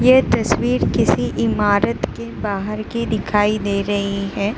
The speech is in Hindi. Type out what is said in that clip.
ये तस्वीर किसी इमारत के बाहर की दिखाई दे रही है।